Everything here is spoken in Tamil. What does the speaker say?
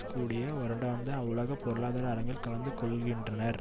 கூடிய வருடாந்த உலக பொருளாதார அரங்கில் கலந்து கொள்ளுகின்றனர்